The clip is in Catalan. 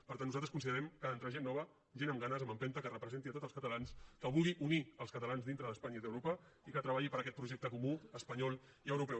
per tant nosaltres considerem que ha d’entrar gent nova gent amb ganes amb empenta que representi a tots els catalans que vulgui unir els catalans dintre d’espanya i d’europa i que treballi per aquest projecte comú espanyol i europeu